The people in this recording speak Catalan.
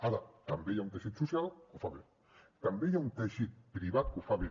ara també hi ha un teixit social que ho fa bé també hi ha un teixit privat que ho fa bé